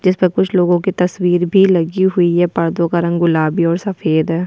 जिस्पे कुछ लोगो के तस्वीर भी लगी हुई है पर्दो का रंग गुलाबी और सफ़ेद है।